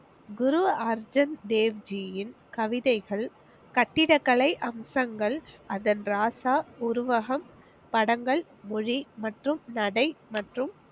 குரு அர்ஜுன் தேவ் ஜியின் கவிதைகள், கட்டிடக்கலை அம்சங்கள், அதன் ராசா உருவகம் படங்கள், மொழி, மற்றும் நடை, மற்றும்